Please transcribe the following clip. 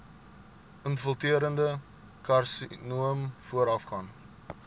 infiltrerende karsinoom voorafgaan